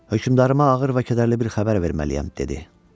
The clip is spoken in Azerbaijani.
hökmdarıma ağır və kədərli bir xəbər verməliyəm dedi.